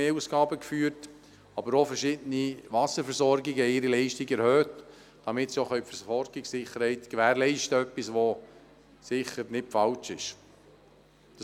Zudem erhöhten aber auch verschiedene Wasserversorgungen ihre Leistungen, um die Versorgungssicherheit zu gewährleisten, was sicher nicht falsch ist.